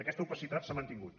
aquesta opacitat s’ha mantingut